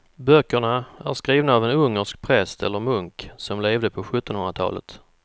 Böckerna är skrivna av en ungersk präst eller munk som levde på sjuttonhundratalet.